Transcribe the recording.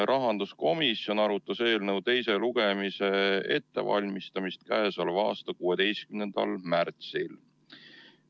Rahanduskomisjon arutas eelnõu teise lugemise ettevalmistamist k.a 16. märtsil.